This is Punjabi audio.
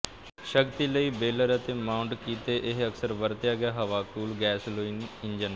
ਸ਼ਕਤੀ ਲਈ ਬੇਲਰ ਤੇ ਮਾਊਟ ਕੀਤੇ ਇਹ ਅਕਸਰ ਵਰਤਿਆ ਗਿਆ ਹਵਾ ਕੂਲ ਗੈਸੋਲੀਨ ਇੰਜਣ